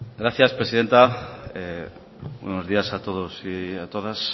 gracias presidenta buenos días a todos y a todas